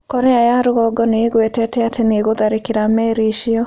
Korea ya Rũgongo nĩ ĩgwetete atĩ nĩ ĩgũtharĩkĩra meri icio.